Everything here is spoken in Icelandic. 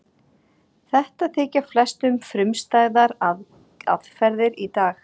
Þetta þykja flestum frumstæðar aðferðir í dag.